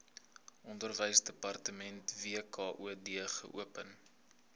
onderwysdepartement wkod geopen